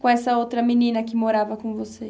Com essa outra menina que morava com você?